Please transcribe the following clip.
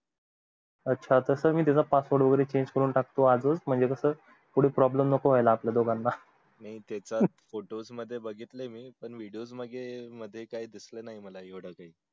अच्छा मी त्याचा password वैगरे change करून टाकतो आज च म्हणजे पुढे कस problem नको होयला आपल्या दोघांना ते त आहे photos मध्ये बघितलं मी video मध्ये म्हणजे दिसलं नाय नीट